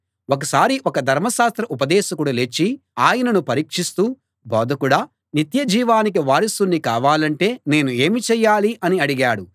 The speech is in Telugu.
ఒకసారి ఒక ధర్మశాస్త్ర ఉపదేశకుడు లేచి ఆయనను పరీక్షిస్తూ బోధకుడా నిత్య జీవానికి వారసుణ్ణి కావాలంటే నేను ఏమి చేయాలి అని అడిగాడు